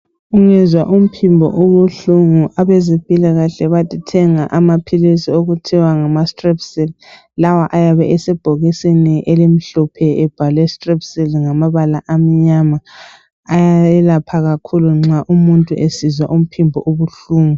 Ungezwa umphimbo ubuhlungu abezempilakahle bathi thenga amaphilisi okuthiwa ngama"Strepsil"lawa ayabe esebhokisini elimhlophe ebhalwe"Strepsil"ngamabala amnyama ayayelapha kakhulu nxa umuntu esizwa umphimbo ubuhlungu.